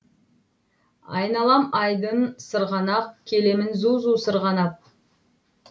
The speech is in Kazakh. айналам айдын сырғанақ келемін зу зу сырғанап